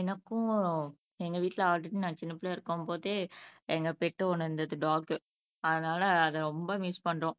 எனக்கும் எங்க வீட்ல ஆல்ரெடி நான் சின்னப்பிள்ளையா இருக்கும் போதே எங்க பெட் ஒண்ணு இருந்துது டாக் அதனால அதை ரொம்ப மிஸ் பண்றோம்